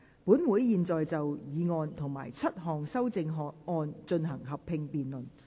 本會現在就議案及7項修正案進行合併辯論。